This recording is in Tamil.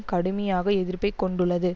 கடுமையாக எதிர்ப்பை கொண்டுள்ளது